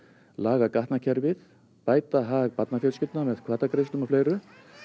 laga gatnakerfið bæta hag barnafjölskyldna með hvatagreiðslum og fleiru